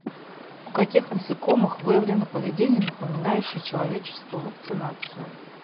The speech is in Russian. у каких насекомых выявлено поведение напоминающее человеческую вакцинацию